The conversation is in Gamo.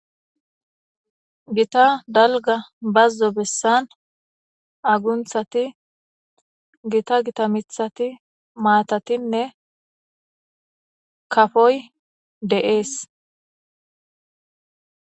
Gita dalga bazzo bessan agunthati gita gita gita mithati matatinne kafoy de'es.